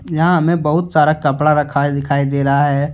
यहां हमें बहुत सारा कपड़ा रखा दिखाई दे रहा है।